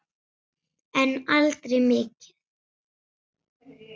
En aldrei mikið.